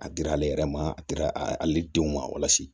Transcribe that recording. A dira ale yɛrɛ ma a dira ale denw ma walasa